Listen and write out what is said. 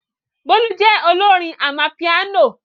Bolu jẹ́ olórin amapiano.